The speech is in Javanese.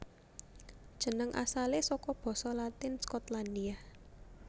Jeneng asalé saka basa Latin Skotlandia